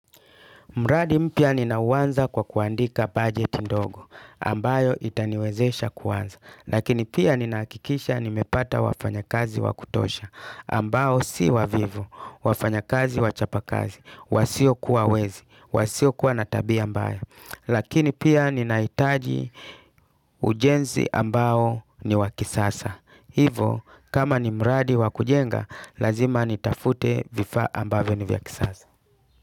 Mradi mpya ninauanza kwa kuandika budget ndogo ambayo itaniwezesha kuwanza. Lakini pia ninahakikisha nimepata wafanyakazi wa kutosha. Ambao si wavivu, wafanya kazi wachapakazi. Wasio kuwa wezi. Wasio kuwa na tabia mbaya. Lakini pia ninaitaji ujenzi ambayo ni wa kisasa. Hivo kama ni mradi wa kujenga lazima nitafute vifaa ambavyo ni vya kisasa.